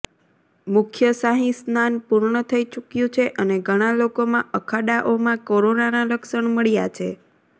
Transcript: મુખ્ય શાહી સ્નાન પૂર્ણ થઈ ચૂક્યું છે અને ઘણા લોકોમાં અખાડાઓમાં કોરોનાનાં લક્ષણ મળ્યા છે